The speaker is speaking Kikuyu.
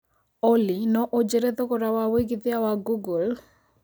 Olly no ũjĩre thogora wa wĩĩgĩthĩa wa google